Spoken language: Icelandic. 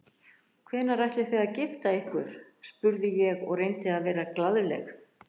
Hvenær ætlið þið að gifta ykkur? spurði ég og reyndi að vera glaðleg.